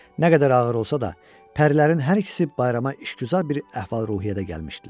Nə qədər ağır olsa da, pərilərin hər ikisi bayrama işgüzar bir əhval-ruhiyyədə gəlmişdilər.